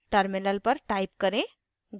terminal पर type करें: